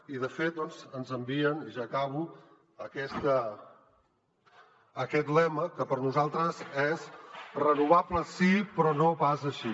i de fet doncs ens envien i ja acabo aquest lema que per a nosaltres és renovables sí però no pas així